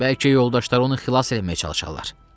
Bəlkə yoldaşları onu xilas eləməyə çalışarlar.